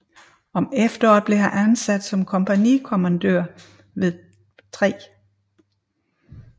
Om efteråret blev han ansat som kompagnikommandør ved 3